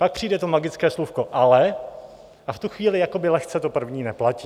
Pak přijde to magické slůvko "ale" a v tu chvíli jakoby lehce to první neplatí.